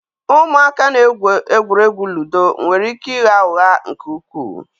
Ụmụaka na-egwu egwuregwu ludo nwere ike ịgha ụgha nke ukwuu